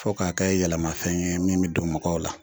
Fɔ k'a kɛ yɛlɛmafɛn ye min be don mɔgɔw la